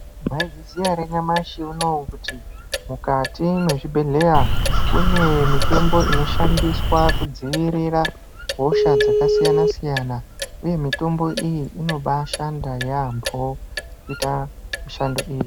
Maizviziva here kuti nyamashi unouyu kuti mukati mezvibhedhlera kune mitombo inoshandiswa kudzivirira hosha dzakasiyana siyana uye mitombo iyi inobaashanda yaambo kuita mishando iyi.